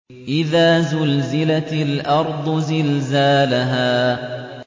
إِذَا زُلْزِلَتِ الْأَرْضُ زِلْزَالَهَا